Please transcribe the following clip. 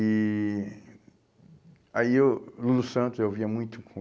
E... Aí o Lulu Santos eu ouvia muito